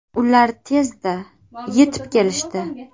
Ular tezda yetib kelishdi.